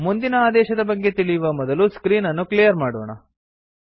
ಮುಂದಿನ ಆದೇಶದ ಬಗ್ಗೆ ತಿಳಿಯುವ ಮೊದಲು ಸ್ಕ್ರೀನ್ ಅನ್ನು ಕ್ಲಿಯರ್ ಮಾಡೋಣ